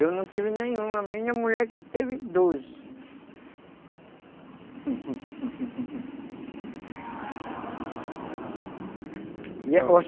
Eu não tive nenhum, a minha mulher que teve doze (barulho de moto)